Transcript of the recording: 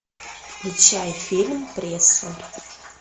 включай фильм пресса